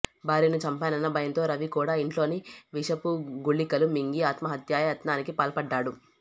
భార్యను చంపానన్న భయంతో రవి కూడా ఇంట్లోని విషపు గుళికలు మింగి ఆత్మహత్యాయ త్నానికి పాల్పడ్డాడు